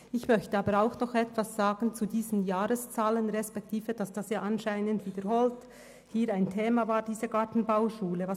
Ich möchte aber auch etwas zu den Jahreszahlen sagen und dazu, dass diese Gartenbauschule anscheinend wiederholt im Grossen Rat ein Thema war.